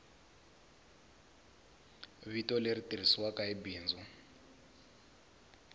vito leri tirhisiwaku hi bindzu